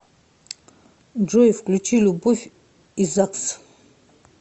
джой включи любовь и загс